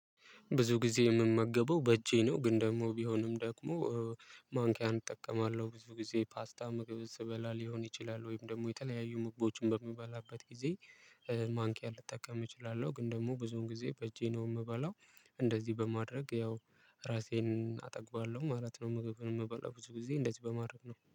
ብዙ ጊዜ የምመገበው በእጄ ነው ግን ደግሞ ቢሆንም ደግሞ ማንኪያን እጠቀማለሁ ብዙ ጊዜ ፓስታ ምግብን ስበላ ሊሆን ይችላል ወይንም ደግሞ የተለያዩ ምግቦችን በምበላበት ጊዜ ማንኪያ ልጠቀም እችላለሁ ግን ደግሞ ብዙውን ጊዜ በእጄ ነው ምበላው እንደዚህ በማድረግ ያው ራሴን አጠግባለሁ ማለት ነው። ምግብን ምበላው ብዙ ጊዜ እንደዚህ በማድረግ ነው